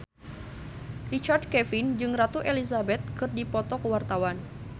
Richard Kevin jeung Ratu Elizabeth keur dipoto ku wartawan